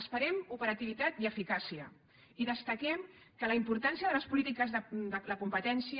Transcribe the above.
esperem operativitat i eficàcia i destaquem que la importància de les polítiques de la competència